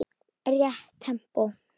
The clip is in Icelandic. Rétt tempó.